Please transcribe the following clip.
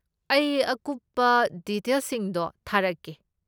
ꯑꯩ ꯑꯀꯨꯞꯄ ꯗꯤꯇꯦꯜꯁꯤꯡꯗꯣ ꯊꯥꯔꯛꯀꯦ꯫